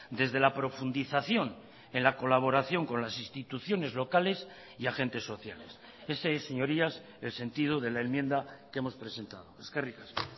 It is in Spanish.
desde la profundización en la colaboración con las instituciones locales y agentes sociales ese es señorías el sentido de la enmienda que hemos presentado eskerrik asko